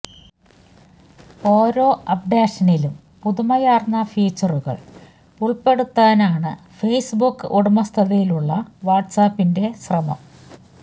ഓരോ അപ്ഡേഷനിലും പുതുമയാർന്ന ഫീച്ചറുകൾ ഉൾപ്പെടുത്താനാണ് ഫേസ് ബുക്ക് ഉടമസ്ഥതയിലുള്ള വാട്സാപ്പിന്റെ ശ്രമം